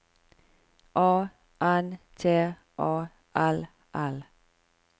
A N T A L L